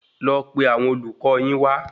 Lọ pe àwọn olùkọ yín wa